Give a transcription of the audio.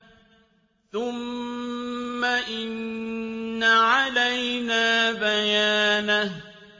ثُمَّ إِنَّ عَلَيْنَا بَيَانَهُ